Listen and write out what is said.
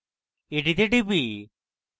এটিতে টিপি